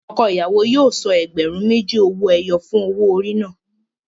Ọkọ ìyàwó yóò san ẹgbẹ̀rún méjì owó ẹyọ fún owó orí náà.